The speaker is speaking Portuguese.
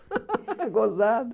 Gozado.